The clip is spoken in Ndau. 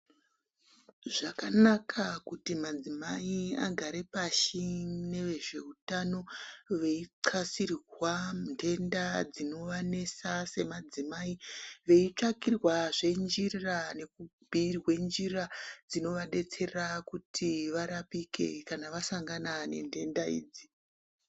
Zvakanaka kuti madzimai agare pashi neezveutano veixasirwa ndenda dzinoanesa semadzimai, veitsvakirwazve njira nekubhuirwa njira dzinoadetsera kuti arapike kana asangana nentenda idzi.